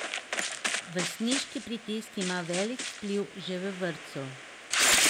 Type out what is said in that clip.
Vrstniški pritisk ima velik vpliv že v vrtcu.